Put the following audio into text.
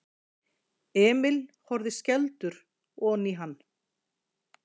Emil horfði skelfdur oní hann.